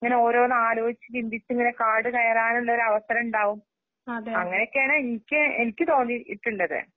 ഇങ്ങനെയോരോന്നാലോചിച്ച്ചിന്തിച്ചിങ്ങനെ കാടുകയറാനുള്ളൊരവസണ്ടാവും. അങ്ങനെയെക്കെയാണെക്ക് എനിക്ക്തോന്നീട്ട്ള്ളത്.